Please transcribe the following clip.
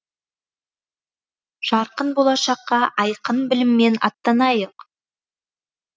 жарқын болашаққа айқын біліммен аттанайық